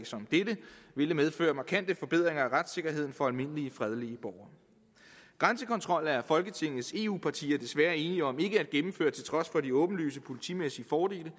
som dette ville medføre markante forbedringer af retssikkerheden for almindelige fredelige borgere grænsekontrol er folketingets eu venlige partier desværre enige om ikke at gennemføre til trods for de åbenlyse politimæssige fordele det